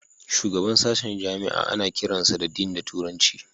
Shugaban sashen jami'a ana kiransa da Dean da turanci